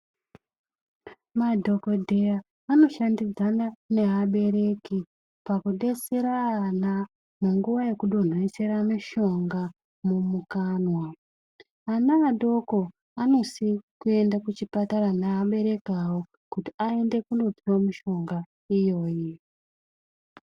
Madhokodheya anoshandidzana neabereki pakudesera ana munguwa yekudonhesera mishonga mumukanwa. Ana adoko anosi kuende kuchipatara neabereki awo kuti aende kundopiwa mishonga iyoyi.